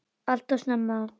Alltof snemma.